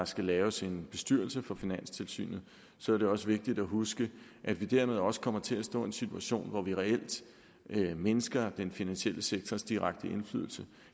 skal laves en bestyrelse for finanstilsynet så er det også vigtigt at huske at vi dermed også kommer til at stå i en situation hvor vi reelt mindsker den finansielle sektors direkte indflydelse